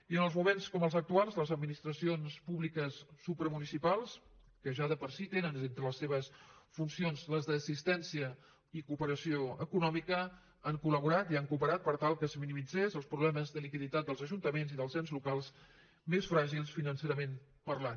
i en els moments com els actuals les administracions públiques supramunicipals que ja de per si tenen entre les seves funcions les d’assistència i cooperació econòmica han coltal que es minimitzessin els problemes de liquiditat dels ajuntaments i dels ens locals més fràgils financerament parlant